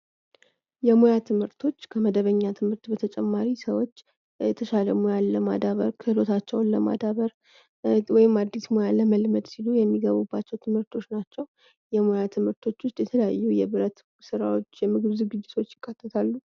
የሙያ ትምህርቶች ከመደበኛ ትምህርት በተጨማሪ ሰዎች የተሻለ ሙያን ለማዳበር ክህሎታቸውን ለማዳበር ወይም አዲስ ሙያን ለመልመድ ስሉ የሚገቡባቸው ትምህርቶች ናቸው። የሙያ ትምህርቶች ውስጥ የተለያዩ የብረት ስራዎች፣ የምግብ ዝግጅቶች ይካተታሉ።